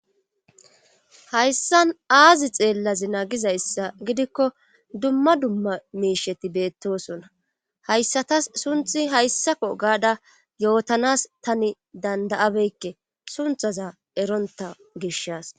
Hayssan aazi xeellazi naagizayssa gidikko dumma dumma miisheti beettosona hayssatas sunthi hayssako gaada yootanas tani danda'abeykke sunthaza eronta gishas